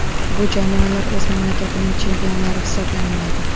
Bu jamoalar o‘z mamlakatining chempionlari hisoblanmaydi.